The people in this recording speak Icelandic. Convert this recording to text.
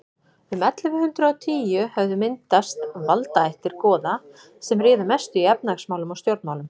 um ellefu hundrað og tíu höfðu myndast valdaættir goða sem réðu mestu í efnahagsmálum og stjórnmálum